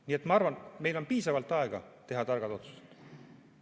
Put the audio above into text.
Nii et ma arvan, et meil on piisavalt aega teha tarku otsuseid.